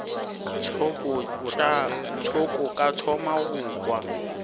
thoko ka thoma go kwa